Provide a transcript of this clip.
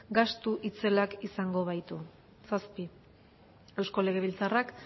gastu itzelak izango baitu zazpi eusko legebiltzarrak